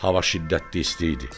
Hava şiddətli isti idi.